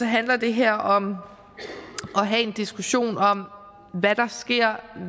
handler det her om at have en diskussion om hvad der sker